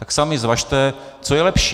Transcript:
Tak sami zvažte, co je lepší.